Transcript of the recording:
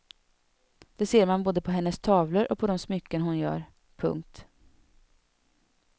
Det ser man både på hennes tavlor och på de smycken hon gör. punkt